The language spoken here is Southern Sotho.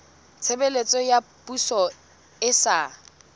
tshebeletso ya poso e sa